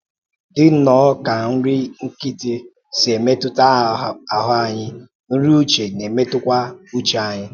Dị nnọọ ka nri nkịtị si emetụta ahụ anyị, nri uche na-emetụtakwa uche anyị.